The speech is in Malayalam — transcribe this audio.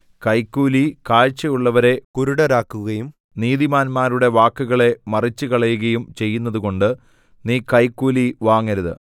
കൈക്കൂലി കാഴ്ചയുള്ളവരെ കുരുടരാക്കുകയും നീതിമാന്മാരുടെ വാക്കുകളെ മറിച്ചുകളയുകയും ചെയ്യുന്നതുകൊണ്ട് നീ കൈക്കൂലി വാങ്ങരുത്